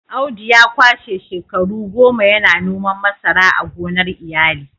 Audu ya kwashe shekaru goma yana noman masara a gonar iyali